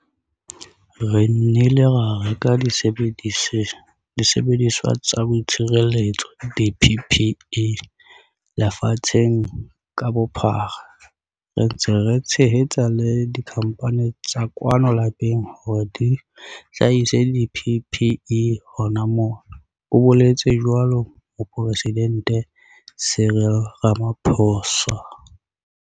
"Re nnile ra reka disebediswa tsa boitshireletso, di-PPE, lefatsheng ka bophara, re ntse re tshehetsa le dikhamphane tsa kwano lapeng hore di hlahise di-PPE hona mona," o boletse jwalo Moporesidente Cyril Ramaphosa.